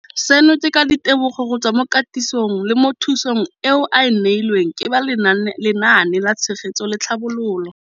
Seno ke ka ditebogo go tswa mo katisong le thu song eo a e neilweng ke ba Lenaane la Tshegetso le Tlhabololo ya